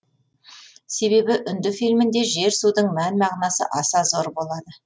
себебі үнді фильмінде жер судың мән мағынасы аса зор болады